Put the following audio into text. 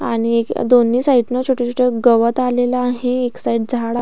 आणि या दोन्ही साइडने छोटे छोटे गवतआलेल आहे एक साइड झाड --